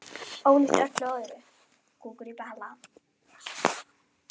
Ólíkt öllu öðru.